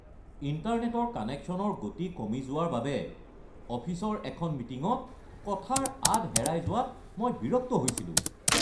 ইণ্টাৰনেটৰ কানেকশ্যনৰ গতি কমি যোৱাৰ বাবে অফিচৰ এখন মিটিঙত কথাৰ আঁত হেৰাই যোৱাত মই বিৰক্ত হৈছিলোঁ।